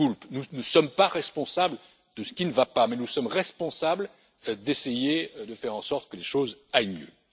Nous ne sommes pas responsables de ce qui ne va pas, mais nous sommes responsables d'essayer de faire en sorte que les choses aillent mieux.